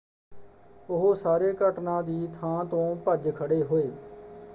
ਉਹ ਸਾਰੇ ਘਟਨਾ ਦੀ ਥਾਂ ਤੋਂ ਭੱਜ ਖੜ੍ਹੇ ਹੋਏ।